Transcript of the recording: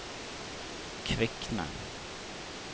Kvikne